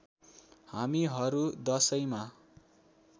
हामीहरू दशैँमा